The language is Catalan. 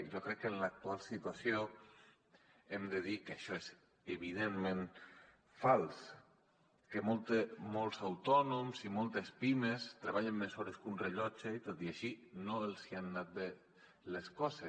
i jo crec que en l’actual situació hem de dir que això és evidentment fals que molts autònoms i moltes pimes treballen més hores que un rellotge i tot i així no els han anat bé les coses